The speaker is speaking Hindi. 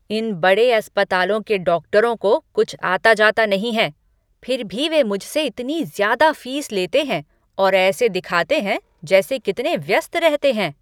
इन बड़े अस्पतालों के डॉक्टरों को कुछ आता जाता नहीं है, फिर भी वे मुझसे इतनी ज़्यादा फीस लेते हैं और ऐसे दिखाते हैं जैसे कितने व्यस्त रहते हैं।